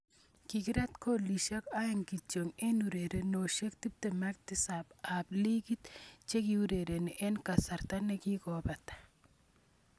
Kikrat golisiek aeng kityo eng urerenosiek 27 ab ligit chikiureren eng kasarta nikikopata.